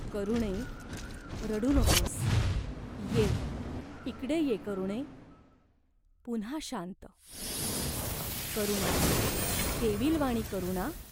"करुणे, रडू नकोस. ये, इकडे ये, करुणे !" पुन्हा शांत."करुणा, केविलवाणी करुणा?